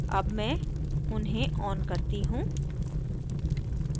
अब मैं उन्हें on करती हूँ